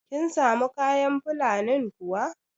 Kin samu kayan Fulanin kuwa?